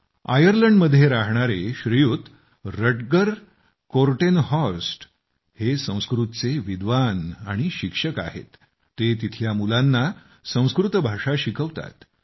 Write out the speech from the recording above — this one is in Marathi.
आयर्लंडमध्ये राहणारे श्रीयुत रटगर कोर्टेनहॉर्स्ट संस्कृतचे विद्वान आणि शिक्षक आहेतआणि ते तिथल्या मुलांना संस्कृत भाषा शिकवतात